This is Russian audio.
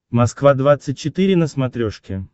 москва двадцать четыре на смотрешке